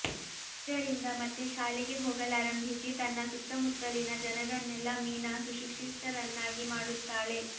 ಇದರಿಂದ ಮತ್ತೆ ಶಾಲೆಗೆ ಹೋಗಲಾರಂಭಿಸಿ ತನ್ನ ಸುತ್ತಮುತ್ತಲಿನ ಜನರನ್ನೆಲ್ಲ ಮೀನಾ ಸುಶಿಕ್ಷಿತರನ್ನಾಗಿ ಮಾಡುತ್ತಾಳೆ